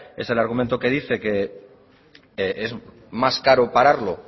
es el argumento que dice que es más caro pararlo